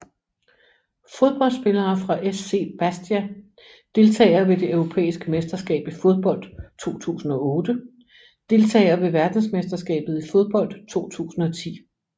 Fodboldspillere fra SC Bastia Deltagere ved det europæiske mesterskab i fodbold 2008 Deltagere ved verdensmesterskabet i fodbold 2010